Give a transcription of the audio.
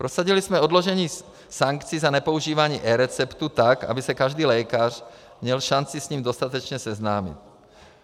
Prosadili jsme odložení sankcí za nepoužívání eReceptů, tak aby se každý lékař měl šanci s ním dostatečně seznámit.